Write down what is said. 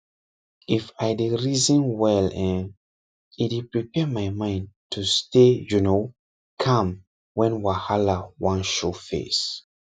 if i dey reason well[um]e dey prepare my mind to stay you know calm when wahala wan show face